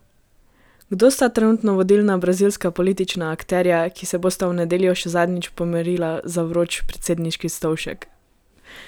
Kdo sta trenutno vodilna brazilska politična akterja, ki se bosta v nedeljo še zadnjič pomerila za vroč predsedniški stolček?